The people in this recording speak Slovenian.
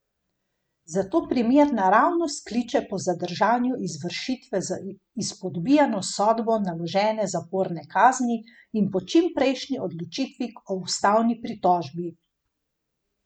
Zato primer naravnost kliče po zadržanju izvršitve z izpodbijano sodbo naložene zaporne kazni in po čim prejšnji odločitvi o ustavni pritožbi.